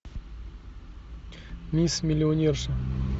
мисс миллионерша